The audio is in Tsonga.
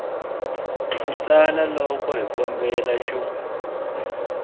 ku tsala loko xikombelo xa